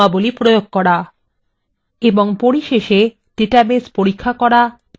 এবং পরিশেষে ডাটাবেস পরীক্ষা করা চালান এবং রক্ষনাবেক্ষণ করা